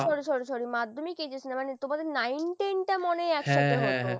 sorry, sorry, sorry Madhyamik HS না তোমাদের nine ten টা মনে হয় একসাথে হতো .